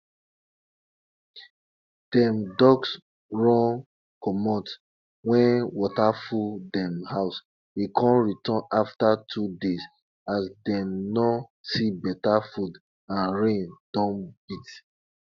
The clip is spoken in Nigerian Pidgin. dem ducks run comot wen water full dem house e con return afta two days as dem no see beta food and rain don beat